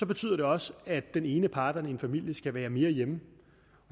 betyder det også at den ene af parterne i en familie skal være mere hjemme